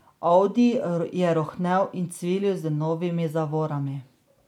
Audi je rohnel in cvilil z novimi zavorami.